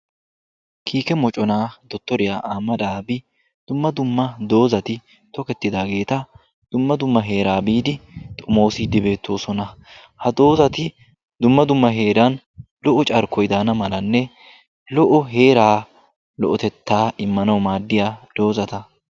kiike moconaa dottoriyaa amadaabi dumma dumma doozati tokettidaageeta dumma dumma heeraa biidi xomoosiiddi beettoosona. ha doozati dumma dumma heeran lo"o carkkoidaana malanne lo"o heeraa lo"otettaa immanawu maaddiya doozata.